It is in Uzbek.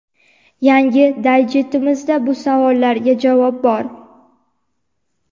Yangi daydjestimizda bu savollarga javob bor‼.